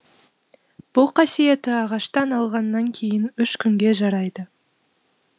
бұл қасиеті ағаштан алғаннан кейін үш күнге жарайды